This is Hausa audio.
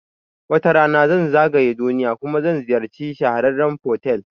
Wata rana zan zagaya duniya kuma zan ziyarci shahararrun fotel